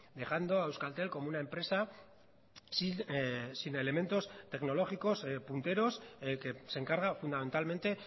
dejando a euskaltel como una empresa sin elementos tecnológicos punteros que se encarga fundamentalmente